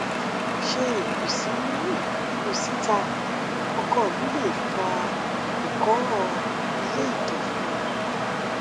ṣé ìkùnsínú kùnsíta ọkọ mi lè fa ìkóràn ilé ìtọ fún mi